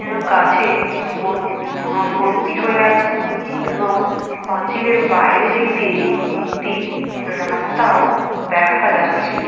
যেন কাছে ভর্তি হয়ে আছে এবং পাঁচিলের বাইরের দিক দিয়ে একটি রাস্তাও দেখা যাচ্ছে।